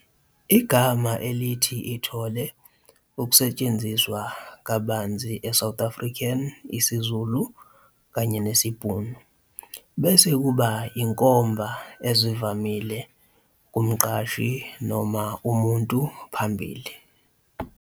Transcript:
Igama elithi ithole ukusetshenziswa kabanzi e -South African isiZulu kanye nesiBhunu, bese kuba inkomba ezivamile "kumqashi" noma "umuntu phambili."